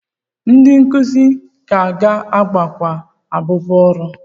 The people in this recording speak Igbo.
Ndị nkuzi ka ga-agakwa abụbọ ọrụ?